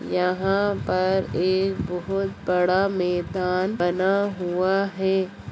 यहा पर एक बहुत बड़ा मेदान बना हुआ है